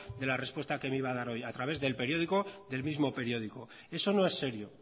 de la respuesta que me iba a dar hoy a través del periódico del mismo periódico eso no es serio